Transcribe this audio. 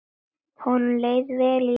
Honum leið vel í vinnu.